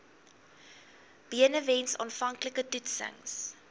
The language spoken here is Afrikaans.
benewens aanvanklike toetsings